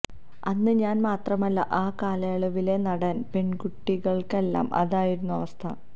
അന്ന് ഞാന് മാത്രമല്ല ആ കാലയളവിലെ നാടന് പെണ്കുട്ടികള്ക്കെല്ലാം അതായിരുന്നു അവസ്ഥ